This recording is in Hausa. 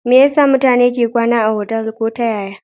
Me yasa mutane ke kwana otal ko ta yaya